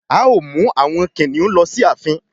A o mú àwọn kìnìún ló sì ààfin.